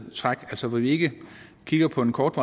træk altså hvor vi ikke kigger på den korte